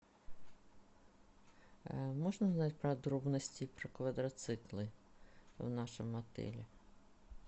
можно узнать подробности про квадроциклы в нашем отеле